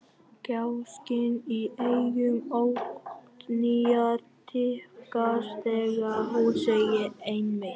Gáskinn í augum Oddnýjar dýpkar þegar hún segir: Einmitt.